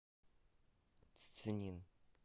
цзинин